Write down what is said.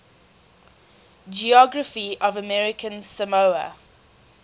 geography of american samoa